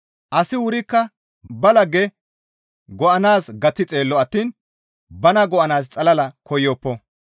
Asi wurikka ba lagge go7anaaz gaththi xeello attiin bana go7anaaz xalala koyoppo.